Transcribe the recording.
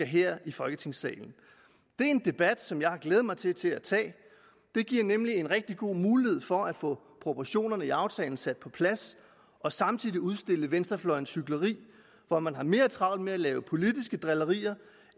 her i folketingssalen det er en debat som jeg har glædet mig til til at tage det giver nemlig en rigtig god mulighed for at få proportionerne i aftalen sat på plads og samtidig udstille venstrefløjens hykleri hvor man har mere travlt med at lave politiske drillerier